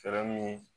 Fɛɛrɛ min